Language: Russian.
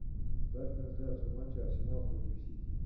ставь трансляцию матча арсенал против сити